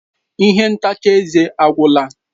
Ihe ntacha eze agwụla.